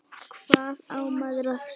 Hvað á maður að segja?